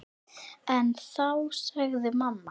En þá sagði mamma